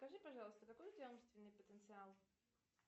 скажи пожалуйста какой у тебя умственный потенциал